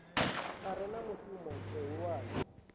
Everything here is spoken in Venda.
a re na mushumo muhulwane